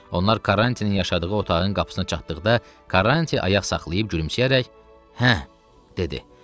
Onlar Karrantinin yaşadığı otağın qapısına çatdıqda Karranti ayaq saxlayıb gülümsəyərək: "Hə" dedi.